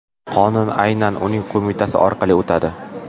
Qonun aynan uning qo‘mitasi orqali o‘tadi.